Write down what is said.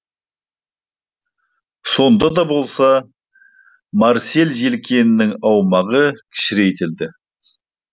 сонда да болса марсель желкенінің аумағы кішірейтілді